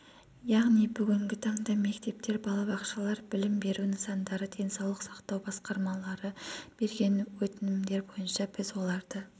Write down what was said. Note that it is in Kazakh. яғни бүгінгі таңда мектептер балабақшалар білім беру нысандары денсаулық сақтау басқармалары берген өтінімдер бойынша біз оларды